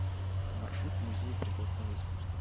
маршрут музей прикладного искусства